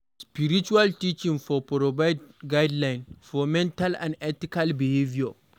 Spiritual teaching for provide guideline for moral and ethical behaviour